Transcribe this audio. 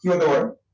কি হতে পারে